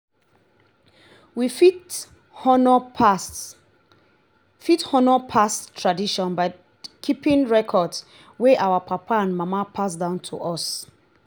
we fit honour past fit honour past tradition by keeping records wey our papa and mama pass down to us